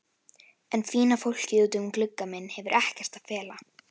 En fína fólkið útum gluggann minn hefur ekkert að fela.